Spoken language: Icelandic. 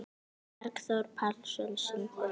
Bergþór Pálsson syngur.